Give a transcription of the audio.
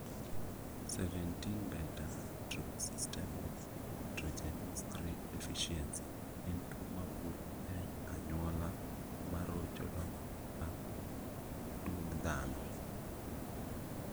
17 beta hydroxysteroid dehydrogenase 3 deficiency en tuo mawuok e anyuola marocho dongruok mar duong' dhano